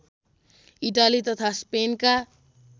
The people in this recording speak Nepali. इटाली तथा स्पेनका